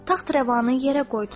Taxtrəvanı yerə qoydular.